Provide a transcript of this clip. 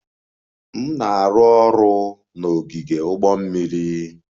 M na-arụ ọrụ n'ogige ụgbọ mmiri.